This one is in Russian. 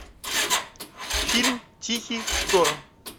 фильм тихий шторм